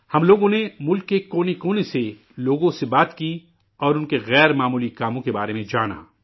ہم لوگوں نے ملک کے کونے کونے سے لوگوں سے بات کی اور ان کے غیر معمولی کارناموں کے بارے میں جانا